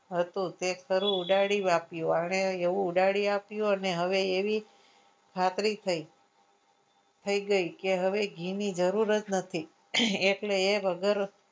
તે ઉડાડી આપ્યું આને એવું ઉડાડી આપ્યું અને હવે એવી ખાતરી થઈ ગઈ કે હવે ઘી ની જરૂર જ નથી એટલે એ વગર